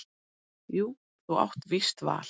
Jú þú átt víst val.